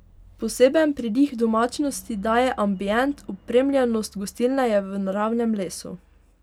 Poseben pridih domačnosti daje ambient, opremljenost gostilne je v naravnem lesu.